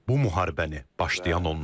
Bu müharibəni başlayan onlardır.